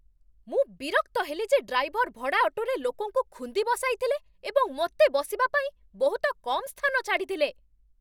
ମୁଁ ବିରକ୍ତ ହେଲି ଯେ ଡ୍ରାଇଭର୍ ଭଡ଼ା ଅଟୋରେ ଲୋକଙ୍କୁ ଖୁନ୍ଦି ବସାଇଥିଲେ ଏବଂ ମୋତେ ବସିବା ପାଇଁ ବହୁତ କମ୍ ସ୍ଥାନ ଛାଡ଼ିଥିଲେ।